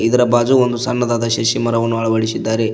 ಇದರ ಬಾಜು ಒಂದು ಸಣ್ಣದಾದ ಶಸಿ ಮರವನ್ನು ಅಳವಡಿಸಿದ್ದಾರೆ.